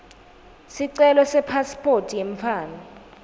sicelo sepasiphoti yemntfwana